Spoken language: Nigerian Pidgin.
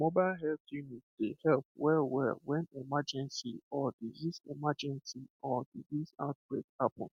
mobile health unit dey help wellwell when emergency or disease emergency or disease outbreak happen